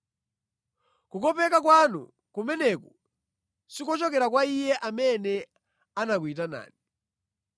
Kukopeka kwanu kumeneku sikuchokera kwa Iye amene anakuyitanani.